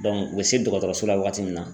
u bɛ se dɔgɔtɔrɔso la wagati min na.